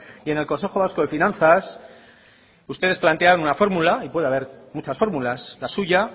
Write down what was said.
y en el consejo vasco de finanzas ustedes plantean una fórmula y puede haber muchas fórmulas la suya